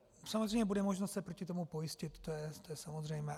Samozřejmě bude možno se proti tomu pojistit, to je samozřejmé.